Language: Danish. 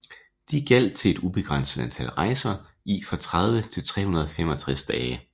De gjaldt til et ubegrænset antal rejser i fra 30 til 365 dage